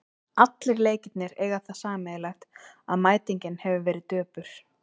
Allir leikirnir eiga það sameiginlegt að mætingin hefur verið döpur.